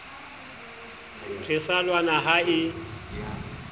re sa lwana ha e